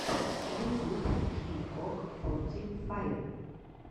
ютуб хикок форти файв